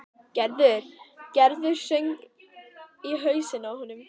Gerður, Gerður söng í hausnum á honum.